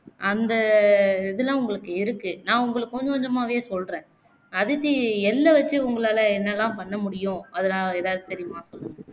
அந்த இதுலாம் உங்களுக்கு இருக்கு நா உங்களுக்கு கொஞ்ச கொஞ்சமாவே சொல்றேன் அதித்தி எள்ள வச்சு உங்களால என்னல்லாம் பண்ண முடியும் அதுலா எதாவது தெரியுமா சொல்லுங்க